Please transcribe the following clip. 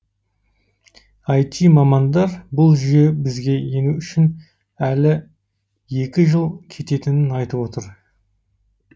іт мамандар бұл жүйе бізге ену үшін әлі жыл кететінін айтып отыр